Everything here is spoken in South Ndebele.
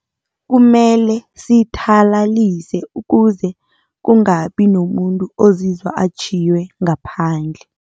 Kumele sithalalise ukuze kungabi nomuntu ozizwa atjhiywe ngaphandle.